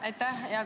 Aitäh!